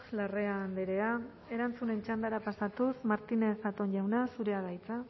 larrea andrea erantzunen txandara pasatuz martínez zatón jauna zurea da hitza